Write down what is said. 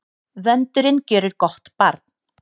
Vöndurinn gjörir gott barn.